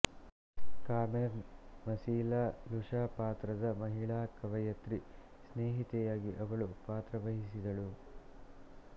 Carmen ಮಸೀಲಾ ಲುಶಾಪಾತ್ರದ ಮಹಿಳಾ ಕವಯತ್ರಿ ಸ್ನೇಹಿತೆಯಾಗಿ ಅವಳು ಪಾತ್ರವಹಿಸಿದಳು